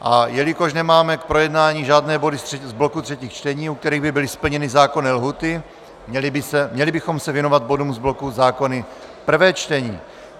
A jelikož nemáme k projednání žádné body z bloku třetích čtení, u kterých by byly splněny zákonné lhůty, měli bychom se věnovat bodům z bloku zákony prvé čtení.